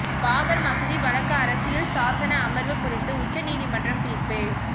பாபர் மசூதி வழக்கு அரசியல் சாசன அமர்வு குறித்து உச்ச நீதிமன்றம் தீர்ப்பு